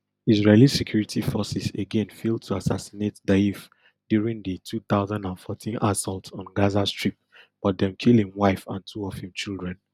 israeli security forces again fail to assassinate deif during di two thousand and fourteen assault on gaza strip but dem kill im wife and two of im children